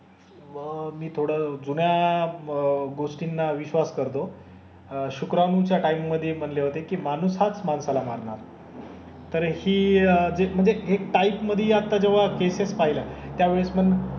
पहा मी थोडं जुन्या गोष्टींना विश्वास करतो. अह शुक्राणूच्या टाइम मधे म्हणले होते कि माणूस हाच माणसाला मारणार. तर हि जे म्हणजे एक टाईप मधे आता जेव्हा केसेस पाहिल्या त्यावेळेस पण,